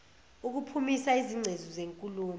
ukuphimisa izingcezu zenkulumo